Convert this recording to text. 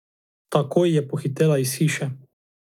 Takoj je pohitela iz hiše.